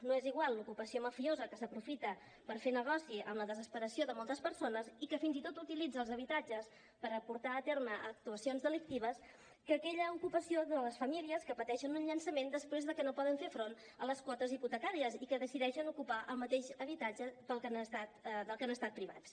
no és igual l’ocupació mafiosa que s’aprofita per fer negoci amb la desesperació de moltes persones i que fins i tot utilitza els habitatges per portar a terme actuacions delictives que aquella ocupació de les famílies que pateixen un llançament després de que no poden fer front a les quotes hipotecàries i que decideixen ocupar el mateix habitatge del que han estat privats